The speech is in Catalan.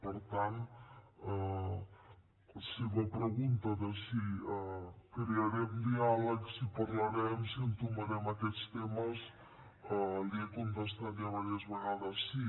per tant a la seva pregunta de si crearem diàlegs si parlarem si entomarem aquests temes li he contestat ja diverses vegades sí